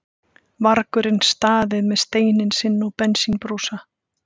vargurinn staðið með steininn sinn og bensínbrúsa.